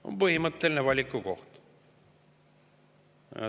On põhimõtteline valikukoht.